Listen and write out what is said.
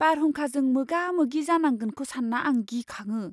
बारहुंखाजों मोगा मोगि जानांगोनखौ सानना आं गिखाङो।